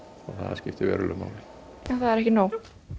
það skiptir verulegu máli en það er ekki nóg